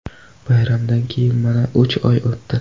Bayramdan keyin mana uch oy o‘tdi.